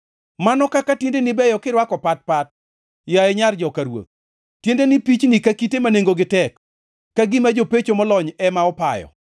Mano kaka tiendeni beyo kirwako pat pat, yaye nyar joka ruoth! Tiendeni pichni ka kite ma nengogi tek, ka gima jopecho molony ema opayo.